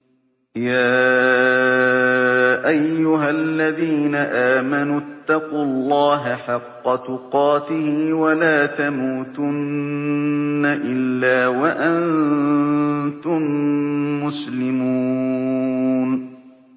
يَا أَيُّهَا الَّذِينَ آمَنُوا اتَّقُوا اللَّهَ حَقَّ تُقَاتِهِ وَلَا تَمُوتُنَّ إِلَّا وَأَنتُم مُّسْلِمُونَ